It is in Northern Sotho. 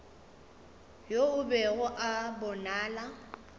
yo a bego a bonala